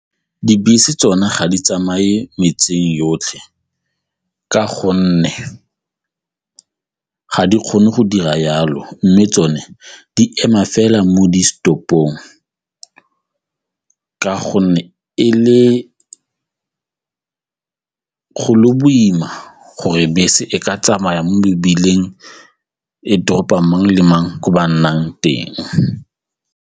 Dibese tsone ga di tsamaye metseng yotlhe ka gonne ga di kgone go dira jalo mme tsone di ema fela mo di-stop-ong ka gonne e le lo boima gore bese e ka tsamaya mo mebileng ko toropong mang le mang ko ba nnang teng.